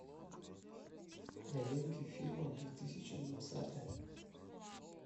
новинки фильмов две тысячи двадцатый